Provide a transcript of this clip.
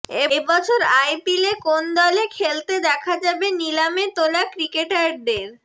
এবছর আইপিলে কোন দলে খেলতে দেখা যাবে নিলামে তোলা ক্রিকেটারদের